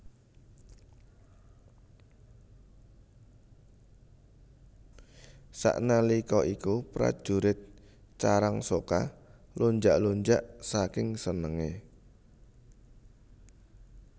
Sanalika iku prajurit Carangsoka lunjak lunjak saking senenge